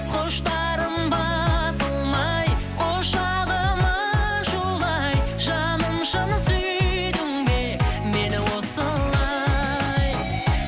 құштарым басылмай құшағым ашулы ай жаным шын сүйдің бе мені осылай